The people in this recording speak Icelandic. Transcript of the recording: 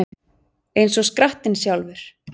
Eins og skrattinn sjálfur